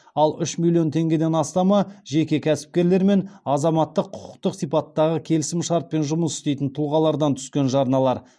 ал үш миллион теңгеден астамы жеке кәсіпкерлер мен азаматтық құқықтық сипаттағы келісімшартпен жұмыс істейтін тұлғалардан түскен жарналар